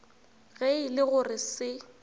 ge e le gore se